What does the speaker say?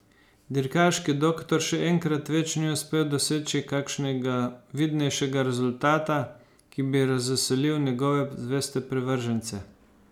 Dirkaški doktor še enkrat več ni uspel doseči kakšnega vidnejšega rezultata, ki bi razveselil njegove zveste privržence.